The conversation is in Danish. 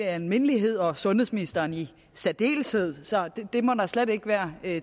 almindelighed og sundhedsministeren i særdeleshed det må der ikke være